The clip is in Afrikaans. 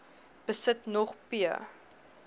besit nog p